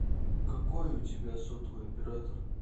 какой у тебя сотовый оператор